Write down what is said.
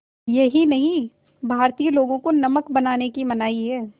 यही नहीं भारतीय लोगों को नमक बनाने की मनाही है